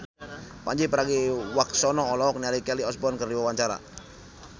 Pandji Pragiwaksono olohok ningali Kelly Osbourne keur diwawancara